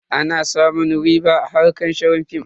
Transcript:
Ana samun riɓa a harkar shirin film.